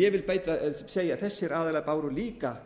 ég vil segja að þessir aðilar báru líka